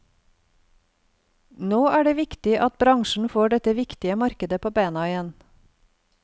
Nå er det viktig at bransjen får dette viktige markedet på bena igjen.